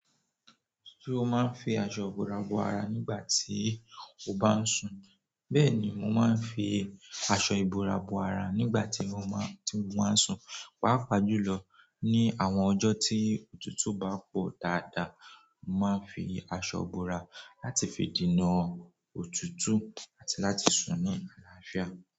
Ṣé o máa ń fi aṣọ ìbora bo ara nígbà tí o bá ń sùn? Bẹ́ẹ̀ni, mo máa ń fi aṣọ ìbora bo ara nígbà tí mo máa ń, tí mo máa ń sùn. Paápaa jùlọ ní àwọn ọjọ́ tí òtútù bá pọ̀ dáadáa, mo máa ń fi aṣọ bora láti fi dènà òtútù àti láti sùn ní àlàáfíà.